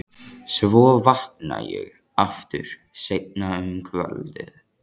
Svo vakna ég aftur seinna um kvöldið.